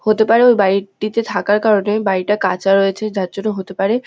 হতে পারে ওর বাড়ি টিতে থাকার কারণে বাড়িটা কাঁচা রয়েছে যার জন্য হতে পারে--